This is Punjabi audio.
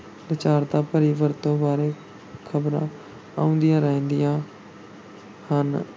ਲੱਚਰਤਾ ਭਰੀ ਵਰਤੋਂ ਬਾਰੇ ਖ਼ਬਰਾਂ ਆਉਂਦੀਆਂ ਰਹਿੰਦੀਆਂ ਹਨ।